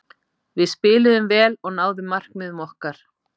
Við spiluðum vel og náðum markmiðum okkar.